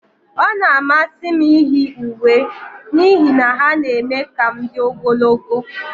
Ọ na-amasị m iyi uwe n'ihi na ha na-eme ka m dị ogologo.